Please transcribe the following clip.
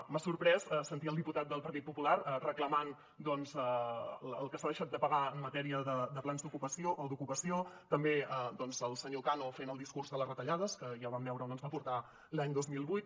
m’ha sorprès sentir el diputat del partit popular reclamant doncs el que s’ha deixat de pagar en matèria de plans d’ocupació o d’ocupació també el senyor cano fent el discurs de les retallades que ja vam veure on ens van portar l’any dos mil vuit